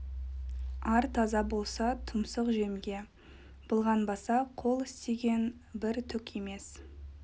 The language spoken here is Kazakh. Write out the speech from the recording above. ар таза болса тұмсық жемге былғанбаса қол істеген бір түк емес